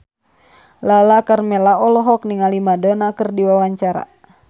Lala Karmela olohok ningali Madonna keur diwawancara